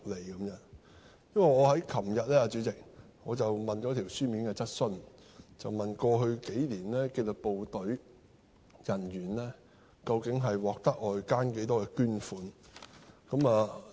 主席，這是因為我在昨天提出書面質詢，問及過去數年紀律部隊人員究竟獲得外間多少捐款。